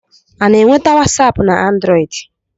A na-enwete wasapu na anduroidi